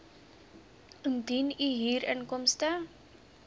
indien u huurinkomste